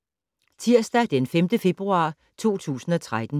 Tirsdag d. 5. februar 2013